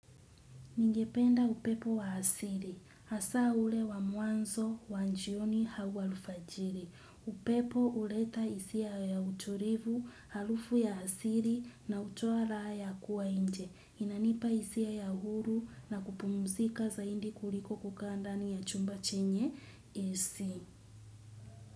Ningependa upepo wa asili. Hasa ule wa mwanzo wa jioni au alfajiri. Upepo huleta hisia ya utulivu, harufu ya asili na hutoa raha ya kuwa nje. Inanipa hisia ya huru na kupumuzika zaidi kuliko kukaa ndani ya chumba chenye AC.